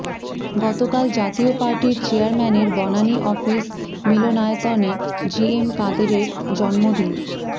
গতকাল জাতীয় পার্টির চেয়ারম্যানের বনানী অফিস মিলনায়তনে জিএম কাদেরের জন্মদিন